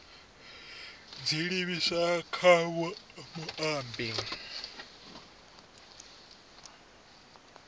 dzi livhiswa kha muambeli vho